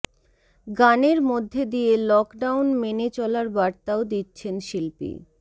গানের মধ্যে দিয়ে লকডাউন মেনে চলার বার্তাও দিচ্ছেন শিল্পী